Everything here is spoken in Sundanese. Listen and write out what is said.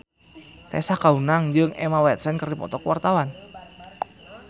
Tessa Kaunang jeung Emma Watson keur dipoto ku wartawan